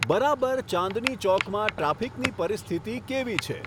બરાબર ચાંદની ચોકમાં ટ્રાફિકની પરિસ્થિતિ કેવી છે